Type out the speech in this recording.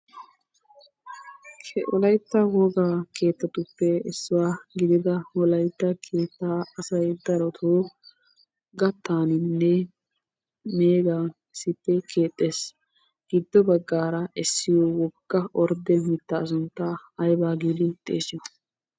Wolaytta woga keettatuppe issuwa gidida wolaytta keettaa asayi darotoo gattaaninne meegan issippe keexxes. Giddo baggaara essiyo ordde mittaa sunttaa ayba giidi xeesiyo?